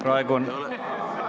Praegu on ...